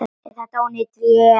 Er þetta ónýt vél?